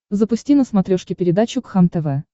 запусти на смотрешке передачу кхлм тв